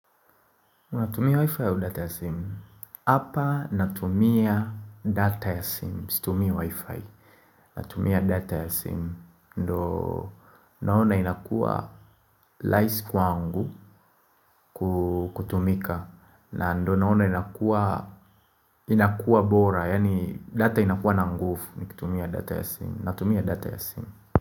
Unatumia wi-fi au data ya sim? Hapa natumia data ya sim situmii wi-fi Natumia data ya sim ndo naona inakuwa laisi kwangu kutumika na ndo naona inakuwa inakuwa bora Yaani data inakuwa na ngufu Nikitumia data ya sim Natumia data ya sim.